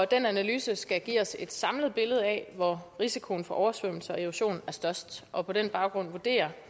analyse skal give os et samlet billede af hvor risikoen for oversvømmelser og erosion er størst og på den baggrund